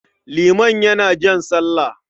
Liman yana jan sallah.